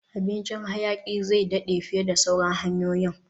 Abincin hayaki zai daɗe fiye da sauran hanyoyin